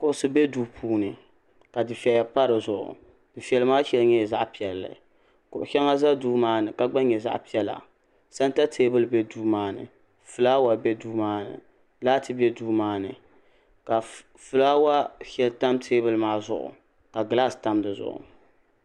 kuɣusi bɛ duu puuni ka dufɛya pa dizuɣu dufɛli maa shɛli nyɛla zaɣ piɛlli kuɣu shɛŋa ʒɛ duu maa ni ka gba nyɛ zaɣ piɛla sɛnta teebuli bɛ duu maa ni fulaawa bɛ duu maa ni laati bɛ duu maa ni ka fulaawa shɛli tam teebuli maa ni ka gilaas tam dizuɣu